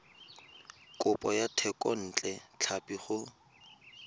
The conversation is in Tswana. kopo ya thekontle tlhapi go